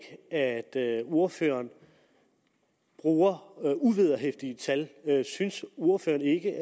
at ordføreren bruger uvederhæftige tal synes ordføreren ikke